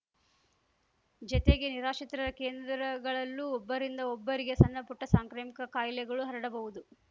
ಜತೆಗೆ ನಿರಾಶ್ರಿತರ ಕೇಂದ್ರಗಳಲ್ಲೂ ಒಬ್ಬರಿಂದ ಒಬ್ಬರಿಗೆ ಸಣ್ಣಪುಟ್ಟಸಾಂಕ್ರಾಮಿಕ ಕಾಯಿಲೆಗಳು ಹರಡಬಹುದು